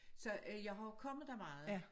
Så øh jeg har jo kommet der meget